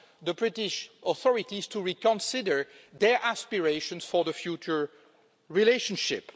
the British authorities to reconsider their aspirations for the future relationship.